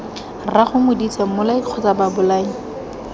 rraago modise mmolai kgotsa babolai